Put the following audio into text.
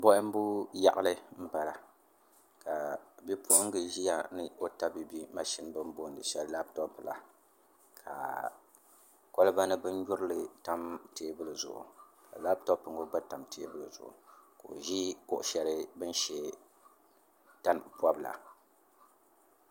Bohambu yaɣali n bala ka bipuɣunbili ʒiya ni o tabiibi mashini shɛli bi ni booni labtop la ka kolba ni bin nyurili tam teebuli zuɣu ka labtop ŋo gba tam teebuli zuɣu ka o ʒi kuɣu shɛli bi ni shɛ tani pobila